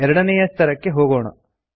ಎರಡನೇಯ ಸ್ತರಕ್ಕೆ ಹೋಗೋಣ